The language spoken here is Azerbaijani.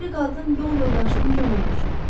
O biri qadın yol yoldaşının köməyinə çatdı.